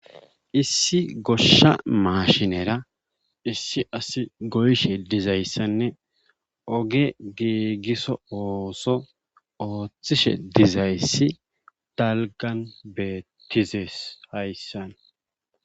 Issi goshsha maashinera goyishe dizayssane oge giigiso oothishe dizayssi dalggan beetizees hayssan